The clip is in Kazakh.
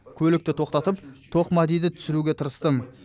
көлікті тоқтатып тоқмәдиді түсіруге тырыстым